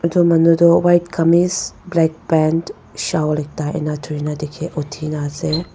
etu manu toh white kameez black pant shawl ekta ena thori na dikhe uthi na ase.